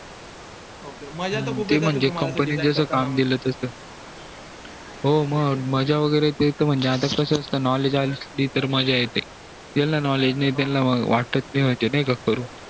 ok ok मज्जा त खूप येत असेल हो म मज्जा वैगेरे म्हणजे ते त म्हणजे आता कस असत knowledge आलं तर मज्जा येते ज्याला knowledge त्याला वाट नई म्हणजे करू